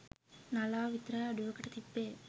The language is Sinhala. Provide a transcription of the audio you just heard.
නලාව විතරයි අඩුවකට තිබ්බේ.